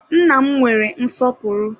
Nna m nwere nsọpụrụ